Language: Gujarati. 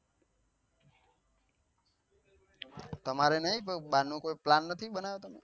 તમારે નહિ કોઈ બાર નો plan કોઈ નથી બનાવતા.